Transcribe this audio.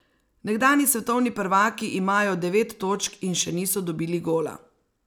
Nekdanji svetovni prvaki imajo devet točk in še niso dobili gola.